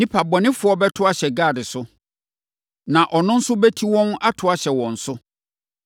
“Nnipa bɔnefoɔ bɛto ahyɛ Gad so, na ɔno nso bɛti wɔn ato ahyɛ wɔn so.